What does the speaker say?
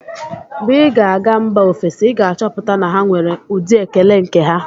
Mgbe ị ga-aga mba ofesi, ị ga-achọpụta na ha nwere ụdị ekele nke ha.